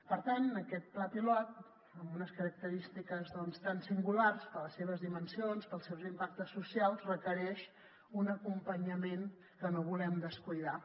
per tant aquest pla pilot amb unes característiques tan singulars per les seves dimensions pels seus impactes socials requereix un acompanyament que no volem descuidar